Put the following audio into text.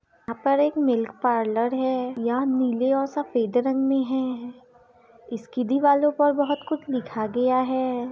यहाँ पर एक मिल्क पार्लर है यहाँ नीले और सफेद रंग में है इसकी दीवालों पे बहुत कुछ लिखा गया है।